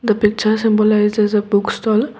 the picture symbol is a book stall.